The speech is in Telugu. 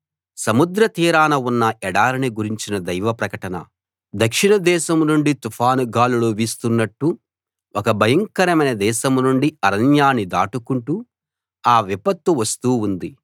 సముద్రతీరాన ఉన్న ఎడారిని గురించిన దైవ ప్రకటన దక్షిణ దేశం నుండి తుఫాను గాలులు వీస్తున్నట్టు ఒక భయంకరమైన దేశం నుండి అరణ్యాన్ని దాటుకుంటూ ఆ విపత్తు వస్తూ ఉంది